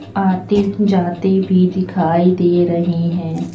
आती जाती भी दिखाई दे रही हैं।